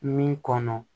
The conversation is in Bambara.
Min kɔnɔ